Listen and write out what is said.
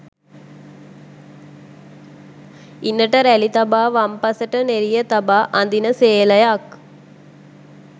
ඉණට රැළි තබා වම්පසට නෙරිය තබා අඳින සේලයක්